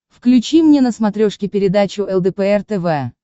включи мне на смотрешке передачу лдпр тв